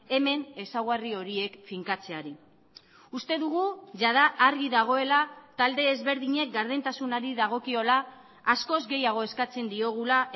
hemen ezaugarri horiek finkatzeari uste dugu jada argi dagoela talde ezberdinek gardentasunari dagokiola askoz gehiago eskatzen diogula